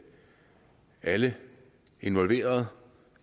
alle involverede